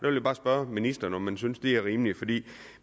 jeg bare spørge ministeren om hun synes det er rimeligt